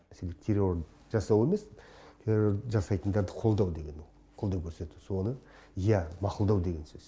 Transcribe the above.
мәселен террор жасау емес террорды жасайтындарды қолдау деген ол қолдау көрсету соны иә мақұлдау деген сөз